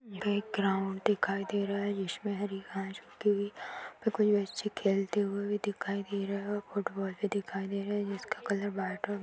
एक ग्राउन्ड दिखाई दे रहा है जिसमें हरी घास लगी हुई कुछ बच्चे खेलते हुए दिखाई दे रहे हैं और फुटबॉल भी दिखाई दे रहे हैं जिसका कलर व्हाइट और --